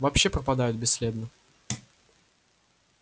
вообще пропадают бесследно